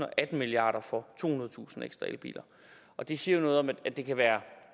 og atten milliard for tohundredetusind ekstra elbiler det siger jo noget om at det kan være